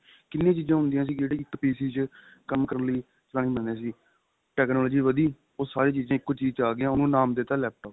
ਕਿੰਨੀ ਚੀਜਾ ਹੁੰਦੀਆਂ ਸੀ ਜਿਹੜੀ ਇੱਕ PC ਚ ਕੰਮ ਕਰਨ ਲਈ ਚਲਾਣੀ ਪੈਂਦੀਆਂ ਸੀ technology ਵੱਧੀ ਉਹ ਸਾਰੀ ਚੀਜ਼ਾ ਇੱਕੋ ਚੀਜ ਚ ਆ ਗਈਆਂ ਉਹਨੂੰ ਨਾਮ ਦੇਤਾ laptop